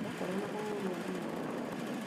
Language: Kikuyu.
Gwakorwo na maũru o nĩmomanagĩrĩria